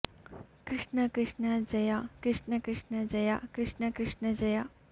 ಕೃಷ್ಣ ಕೃಷ್ಣ ಜಯ ಕೃಷ್ಣ ಕೃಷ್ಣ ಜಯ ಕೃಷ್ಣ ಕೃಷ್ಣ ಜಯ